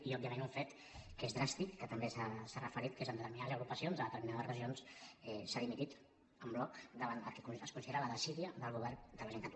i òbviament un fet que és dràstic que també s’hi ha referit que és que en determinades agrupacions a determinades regions s’ha dimitit en bloc davant el que es considera la desídia del govern de la generalitat